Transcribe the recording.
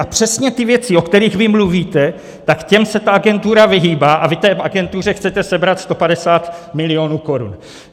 A přesně ty věci, o kterých vy mluvíte, tak těm se ta agentura vyhýbá, a vy té agentuře chcete sebrat 150 milionů korun.